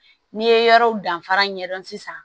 N'i ye yɔrɔw danfara ɲɛdɔn sisan